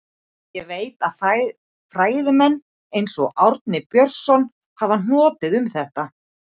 Ég veit að fræðimenn, eins og Árni Björnsson, hafa hnotið um þetta.